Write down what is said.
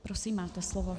Prosím, máte slovo.